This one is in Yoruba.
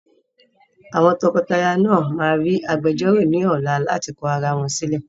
Àwọn tọkọtaya náà ma rí agbejọ́rọ̀ ní ọ̀la láti kọ arawọn sílẹ̀.